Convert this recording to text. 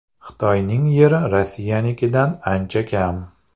Xitoyning yeri Rossiyanikidan ancha kam.